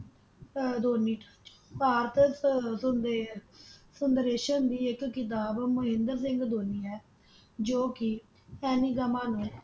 ਅਹ ਧੋਨੀ ਭਾਰਤ ਤਹ ਧੁਨ ਦੇ Narration ਦੀ ਇਕ ਕਿਤਾਬ ਮਹਿੰਦਰ ਸਿੰਘ ਧੋਨੀ ਹੈ ਜੋ ਕੇ ਸੈਣੀ ਜਮਾਨੇ